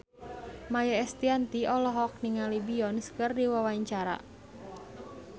Maia Estianty olohok ningali Beyonce keur diwawancara